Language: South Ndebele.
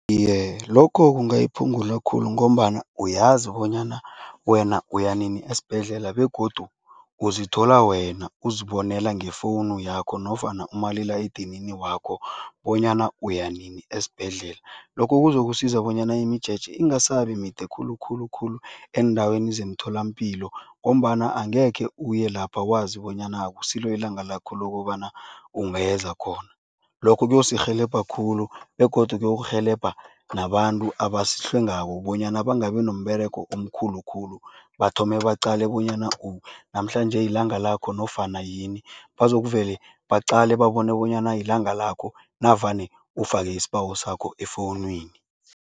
Iye, lokho kungayiphungula khulu ngombana uyazi bonyana wena uya nini esibhedlela begodu uzithola wena uzibonela ngefowunu yakho nofana umalila edinini wakho bonyana uya nini esibhedlela. Lokho kuzokusiza bonyana imijeje ingasabi mide khulu khulu khulu eendaweni zemtholampilo ngombana angekhe uye lapha wazi bonyana akusilo ilanga lakho lokobana ungeza khona. Lokho kuyosirhelebha khulu begodu kuyokurhelebha nabantu abasihlwengako bonyana bangabi nomberego omkhulu khulu, bathome baqale bonyana namhlanje ilanga lakho nofana yini, bazokuvele baqale babone bonyana yilanga lakho navane ufake isibawo sakho efowunini.